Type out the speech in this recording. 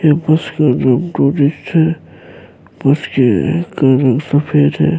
یہ بس کا نام ٹرسٹ ہے، بس جو ہے کالی سفید ہے-